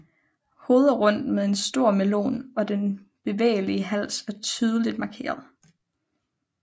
Hovedet er rundt med en stor melon og den bevægelige hals er tydeligt markeret